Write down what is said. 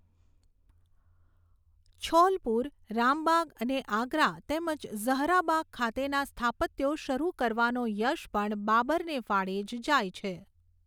છૌલપુર, રામબાગ, અને આગ્રા તેમજ ઝહરાબાગ ખાતેના સ્થાપત્યો શરૂ કરવાનો યશ પણ બાબરને ફાળે જ જાય છે.